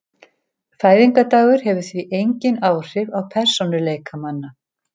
Fæðingardagur hefur því engin áhrif á persónuleika manna.